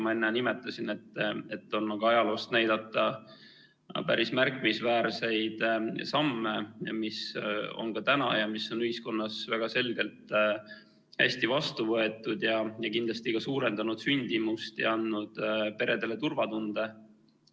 Ma enne nimetasin, et on ka ajaloost näidata päris märkimisväärseid samme, mis on ühiskonnas väga selgelt hästi vastu võetud ja kindlasti suurendanud sündimust ja andnud peredele turvatunde.